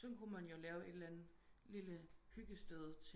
Sådan kunne man jo lave et eller andet hyggested